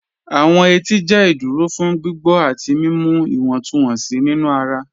Awọn ètì jẹ́ ìdúró fún gbígbọ̀ àti mímú ìwọ̀ntúnwọ̀nsí nínu ara.